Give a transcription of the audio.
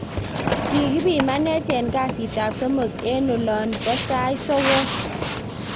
Kikipimanech en kasit ab somok en olon bo sait sokol